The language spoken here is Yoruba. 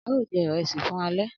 Ao je iresi fun ale